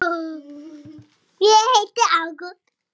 Sjúga úr þeim lífið.